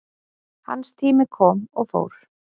Hans tími kom og fór